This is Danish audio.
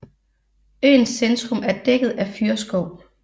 Øens centrum er dækket af fyrreskov